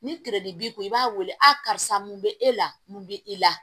Ni b'i kun i b'a wele a karisa mun be e la mun be i la